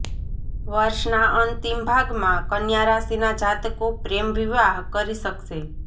વર્ષના અંતિમ ભાગમાં કન્યા રાશિના જાતકો પ્રેમ વિવાહ કરી શકશે